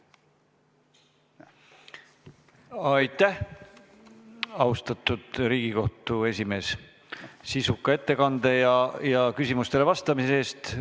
Aitäh, austatud Riigikohtu esimees, sisuka ettekande eest ja küsimustele vastamise eest!